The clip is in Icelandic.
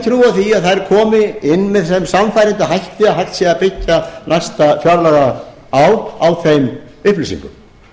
því að þær komi inn með þeim sannfærandi hætti að hægt sé að byggja næsta fjárlagaár á þeim upplýsingum